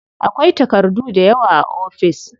Akwai takardu dayawa a ofis.